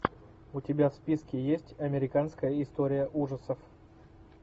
у тебя в списке есть американская история ужасов